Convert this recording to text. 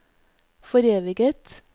foreviget